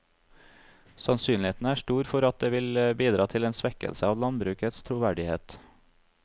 Sannsynligheten er stor for at det vil bidra til en svekkelse av landbrukets troverdighet.